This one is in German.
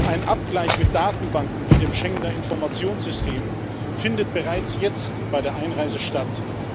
Ein Abgleich mit Datenbanken wie dem Schengener Informationssystem findet bereits jetzt bei der Einreise statt.